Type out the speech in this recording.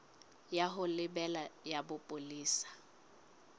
ya ho lebela ya bopolesa